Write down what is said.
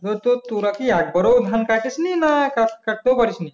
ধর তোরা কি একবার ও ধান কাটিসনি নাকি কাট কাটতেও পারিসনি